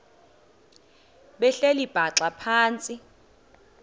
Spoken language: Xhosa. behleli bhaxa phantsi